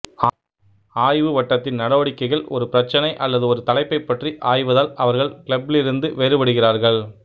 ஆய்வு வட்டத்தின் நடவடிக்கைகள் ஒரு பிரச்னை அல்லது ஒரு தலைப்பைப் பற்றி ஆய்வதால் அவர்கள் கிளப்பிலிருந்து வேறுபடுகிறார்கள்